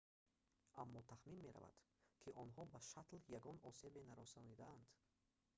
аммо тахмин меравад ки онҳо ба шаттл ягон осебе нарасонидаанд